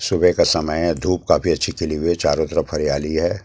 सुबह का समय है धूप काफी अच्छी खिली हुई है चारों तरफ हरियाली है।